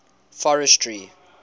forestry